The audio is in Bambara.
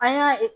An y'a